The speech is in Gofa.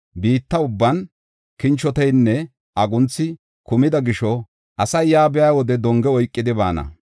Biitta ubban kinchoteynne agunthi kumida gisho, asay yaa biya wode donge oykidi baana.